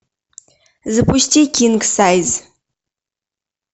запусти кинг сайз